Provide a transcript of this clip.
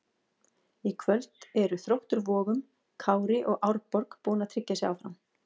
Í kvöld eru Þróttur Vogum, Kári og Árborg búin að tryggja sig áfram.